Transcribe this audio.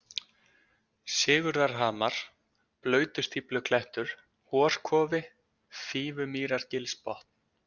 Sigurðarhamar, Blautustífluklettur, Horkofi, Fífumýrargilsbotn